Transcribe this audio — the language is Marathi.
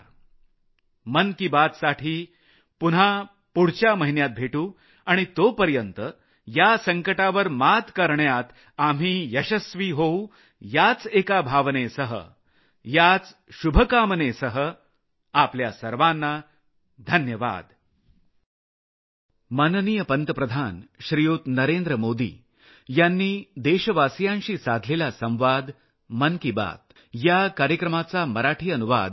खूप खूप धन्यवाद मन की बातसाठी पुन्हा पुढच्या महिन्यात भेटू आणि तोपर्यंत या संकटावर मात करण्यात आपण यशस्वी होऊ याच एका भावनेसह याच शुभकामनेसह आपल्या सर्वांना धन्यवाद